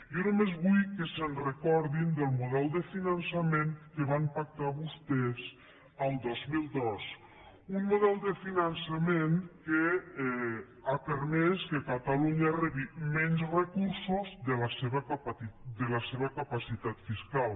jo només vull que recordin el model de finançament que van pactar vostès el dos mil dos un model de finançament que ha permès que catalunya rebi menys recursos de la seva capacitat fiscal